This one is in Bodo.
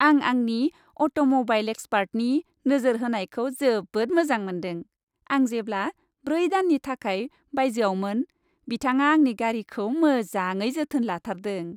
आं आंनि अट'म'बाइल एक्सपार्टनि नोजोर होनायखौ जोबोद मोजां मोन्दों! आं जेब्ला ब्रै दाननि थाखाय बायजोआवमोन बिथाङा आंनि गारिखौ मोजाङै जोथोन लाथारदों!